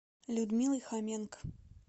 людмилой хоменко